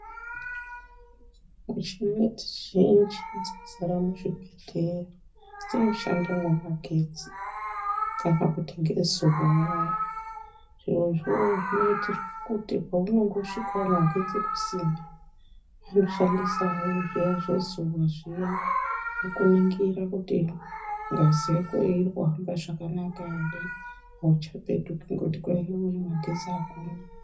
Muchina dzizhinji dzazara muzvibhedhlera dzinoshanda ngemagetsi kana kuti ngezuwa waya zviro zvo zvinoitirwe kuti paunongosvikawo magetsi kusina vanoshandisa zviya zvezuwa zviya wokuningira kuti ngazi yakoyo iri kuhamba zvakanaka ere auchapetuki ngekuti yuwi kwai magetsi akuna.